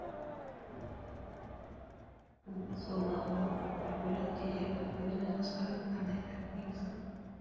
облыс аумағының бір бөлігінде жергілікті өзін өзі басқарудың арнайы тәртібі енгізілді